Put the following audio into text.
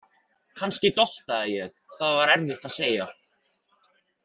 Kannski dottaði ég, það var erfitt að segja.